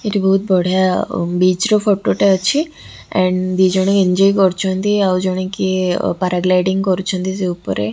ଏଠି ବୋହୁତ୍ ବଢିଆ ବିଚ୍ ର ଫଟୋ ଟେ ଅଛି ଆଣ୍ଡ ଦି ଜଣ ଏଞ୍ଜୋଏ କରୁଛନ୍ତି ଆଉ ଜଣେ କିଏ ପାରାଗ୍ଲାଇଡିଙ୍କ୍ କରୁଛନ୍ତି ସେ ଉପରେ।